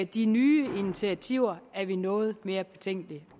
de nye initiativer er vi noget mere betænkelige